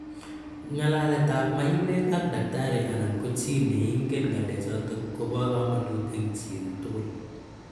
Ng'alaletap maiywek ak daktari anan ko chi ne ingen ng'alechatak kopa kamanut eng' chi tugul.